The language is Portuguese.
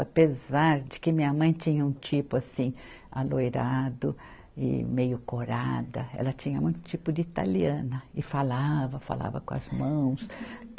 Apesar de que minha mãe tinha um tipo assim aloirado e meio corada, ela tinha um tipo de italiana e falava, falava com as mãos.